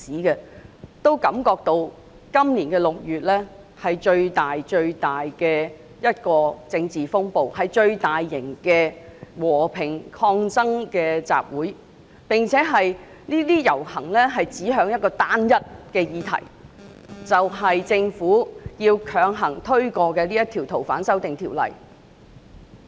他們也感覺到今年6月香港出現的政治風暴前所未有，和平抗爭集會的規模亦是最大型的，而遊行均指向單一的議題，就是針對政府企圖強行通過《逃犯條例》的修訂。